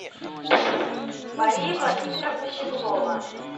мария владимировна щеглова